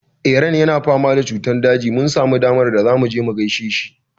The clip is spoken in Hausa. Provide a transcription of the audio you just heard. Eran yana fama da cutar daji. Mun samu damar da zamu je mu gaishe shi.